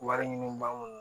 Wari ɲini ba mun